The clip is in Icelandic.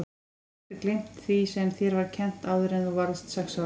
Þú getur aldrei gleymt því sem þér var kennt áður en þú varðst sex ára.